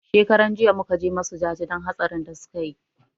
Shekaran jiya muka je musu jaje don hatsarin da suka yi